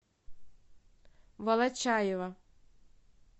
волочаева